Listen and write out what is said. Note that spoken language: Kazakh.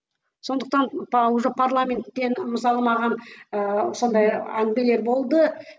сондықтан уже парламенттен мысалы маған ыыы сондай әңгімелер болды